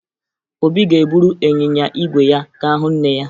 Obi ga-eburu ịnyịnya ígwè ya ga hụ nne ya